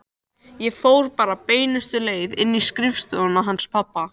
Ég fór bara beinustu leið inn í skrifstofuna hans pabba.